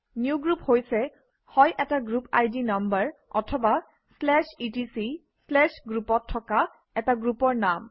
new group হৈছে হয় এটা গ্ৰুপ আই ডি নাম্বাৰ অথবা etcgroup অত থকা এটা গ্ৰুপৰ নাম